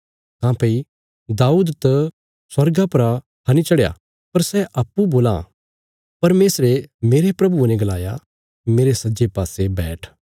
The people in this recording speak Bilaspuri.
काँह्भई दाऊद त स्वर्गा परा हनी चढ़या पर सै अप्पूँ बोलां परमेशरे मेरे प्रभुये ने गलाया मेरे सज्जे पासे बैठ